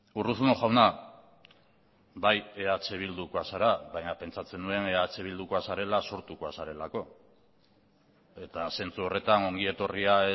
urruzuno jauna bai eh bildukoa zara baina pentsatzen nuen eh bildukoa zarela sortukoa zarelako eta zentzu horretan ongi etorria